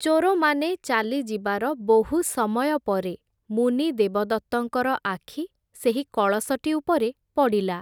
ଚୋରମାନେ ଚାଲି ଯିବାର ବହୁ ସମୟ ପରେ, ମୁନି ଦେବଦତ୍ତଙ୍କର ଆଖି, ସେହି କଳସଟି ଉପରେ ପଡ଼ିଲା ।